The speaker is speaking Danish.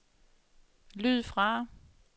lyd fra